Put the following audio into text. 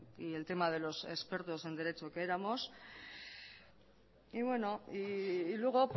y el tema de los expertos en derecho que éramos y luego